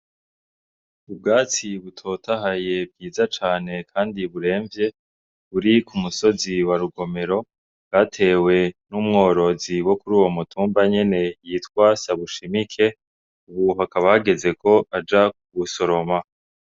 Ubwatsi butotahaye bwiza came kandi buremvye buri k'umusozi wa rugomero bwatewe n'umworozi wo kuri uwo mutumba nyene yitwa Sabushimike ubu hakaba hageze ko aja gusoroma.